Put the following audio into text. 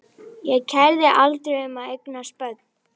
Ég kærði mig aldrei um að eignast börn.